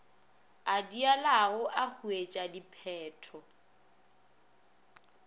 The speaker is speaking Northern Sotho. a diilago e huetša diphetho